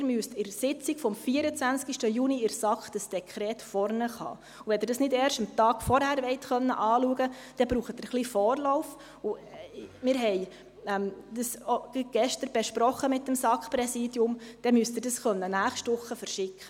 Sie müssen das Dekret an der Sitzung der SAK vom 24. Juni vor sich haben, und wenn Sie es nicht erst am Vortag anschauen wollen, brauchen Sie ein bisschen Vorlauf – wir haben dies gerade gestern mit dem SAK-Präsidium besprochen –, und dann müssen Sie es nächste Woche verschicken.